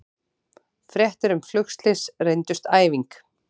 Fréttir um flugslys reyndust æfing